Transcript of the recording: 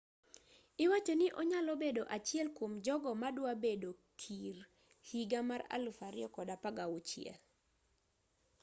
iwachoni onyalo bedo achiel kuom jogo madwa bedo kir higa mar 2016